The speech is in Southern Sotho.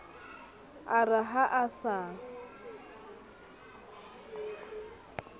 a re ha a sa